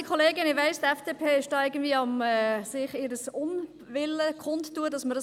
Ich weiss, die FDP tut gerade ihren Unwillen darüber kund, dass das möglich ist.